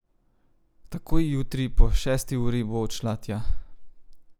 Takoj jutri po šesti uri bo odšla tja.